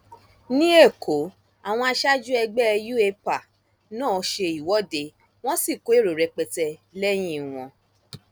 ní ẹkọ àwọn aṣáájú ẹgbẹ u epa náà ṣe ìwọde wọn sì kó èrò rẹpẹtẹ lẹyìn wọn